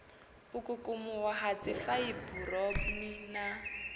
u kukumuwa ha dzifaiburoni na